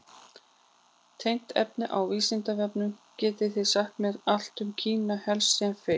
Tengt efni á Vísindavefnum: Getið þið sagt mér allt um Kína, helst sem fyrst?